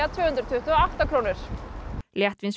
tvö hundruð tuttugu og átta krónur